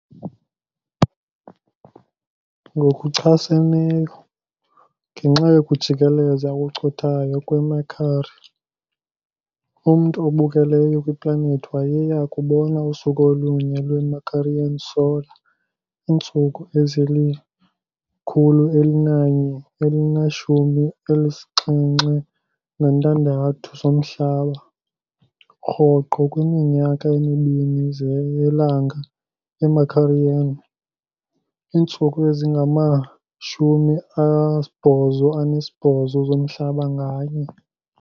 Ngokuchaseneyo, ngenxa yokujikeleza okucothayo kweMercury, umntu obukeleyo kwiplanethi wayeya kubona usuku olunye lwe-Mercurian solar, iintsuku ezili-176 zomhlaba, rhoqo kwiminyaka emibini yelanga yeMercurian, iintsuku ezingama-88 zomhlaba nganye.